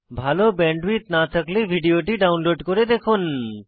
ভাল ব্যান্ডউইডথ না থাকলে ভিডিওটি ডাউনলোড করে দেখুন